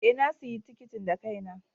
Ee, na sayi tikitin da kaina.